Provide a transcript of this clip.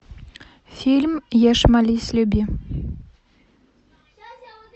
фильм ешь молись люби